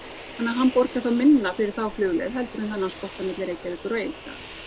hann borgar þá minna fyrir þá flugleið en þennna spotta milli Reykjavíkur og Egilsstaða